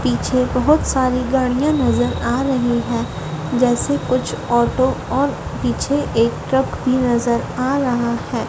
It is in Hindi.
पीछे बहुत सारी गाड़ियां नजर आ रहीं हैं जैसे कुछ ऑटो और पीछे एक ट्रक भी नजर आ रहा हैं।